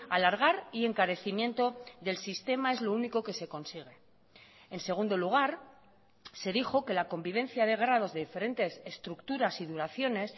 alargar y encarecimiento del sistema es lo único que se consigue en segundo lugar se dijo que la convivencia de grados de diferentes estructuras y duraciones